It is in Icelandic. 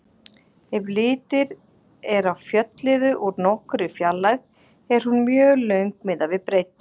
Ef litið er á fjölliðu úr nokkurri fjarlægð er hún mjög löng miðað við breidd.